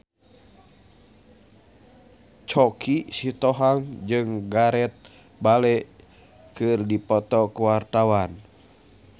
Choky Sitohang jeung Gareth Bale keur dipoto ku wartawan